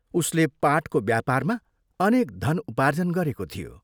उसले पाटको व्यापारमा अनेक धन उपार्जन गरेको थियो।